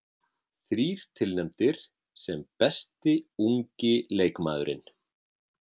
Þrír tilnefndir sem besti ungi leikmaðurinn